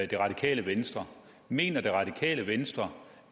det radikale venstre mener det radikale venstre